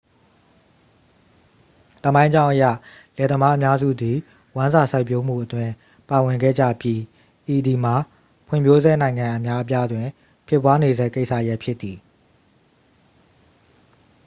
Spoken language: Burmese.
သမိုင်းကြောင်းအရ လယ်သမားအများစုသည် ဝမ်းစာစိုက်ပျိုးမှုအတွင်း ပါဝင်ခဲ့ကြပြီး ဤသည်မှာ ဖွံ့ဖြိုးဆဲနိုင်ငံအများအပြားတွင် ဖြစ်ပွားနေဆဲကိစ္စရပ်ဖြစ်သည်